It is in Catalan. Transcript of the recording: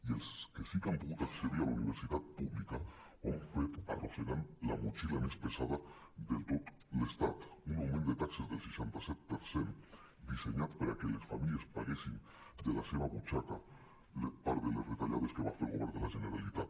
i els que sí que han pogut accedir a la universitat pública ho han fet arrossegant la motxilla més pesada de tot l’estat un augment de taxes del seixanta set per cent dissenyat perquè les famílies paguessin de la seva butxaca part de les retallades que va fer el govern de la generalitat